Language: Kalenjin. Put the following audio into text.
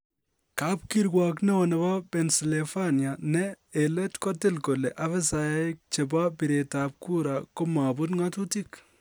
Kap kiruok ne oo nebo Pennsylvania ne en let kotil kole ofisaek chebo biret ab kura komobut ng'atutik.